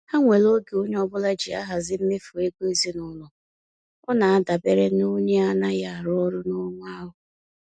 Ha nwere oge onye ọbụla ji ahazi mmefu ego ezinaụlọ, ọ na adabere n'onye anaghị arụ ọrụ n'ọnwa ahu